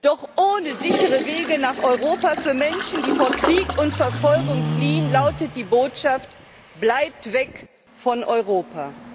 Doch ohne sichere Wege nach Europa für Menschen, die vor Krieg und Verfolgung fliehen, lautet die Botschaft Bleibt weg von Europa!